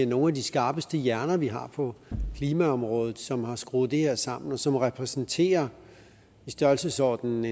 nogle af de skarpeste hjerner vi har på klimaområdet som har skruet det her sammen og som repræsenterer i størrelsesordenen